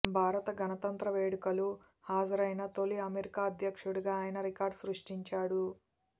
భారత గణతంత్ర వేడులకలు హాజరైన తొలి అమెరికా అధ్యక్షుడిగా ఆయన రికార్డు సృష్టించాడు